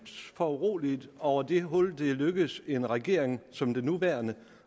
foruroliget over det hul det er lykkedes en regering som den nuværende